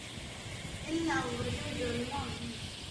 In la abuuro jawi dowladnimo waa muhiim.